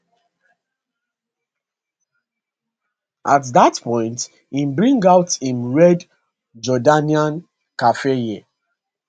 at dat point he bring out im red jordanian keffiyeh